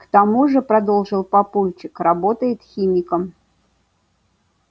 к тому же продолжил папульчик работает химиком